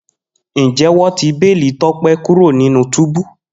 Njẹ wọn ti beeli Tope kuro ninu tubu?